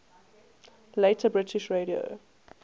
later british radio